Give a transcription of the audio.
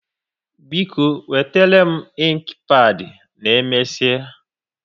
Biko, wetere m inki pad na omesia